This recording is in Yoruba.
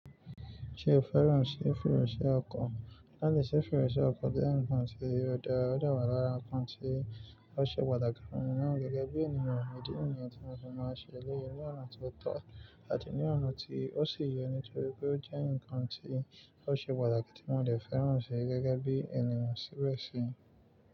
Ṣé o fẹ́ràn sé fereṣẹ́ ọkọ̀? Lálẹ́ si fereṣẹ́ ọkọ̀ jẹ́ ǹkan tí ó dára, ó dàwà lára ǹkan tí ó ṣe pàtàkì fún ènìyàn gẹ́gẹ́ bí ènìyàn, ídí nìyẹn tí mọ máa ń ṣe eléyi ni ọ̀nà tó tọ́ àti ní ọ̀nà tí ó sì yẹ ní torí pé ó jẹ́ ǹkan tí ó ṣe pàtàkì tí wọn ò le fẹ́ràn ṣe gẹ́gẹ́ bí ènìyàn síbẹ̀ sí.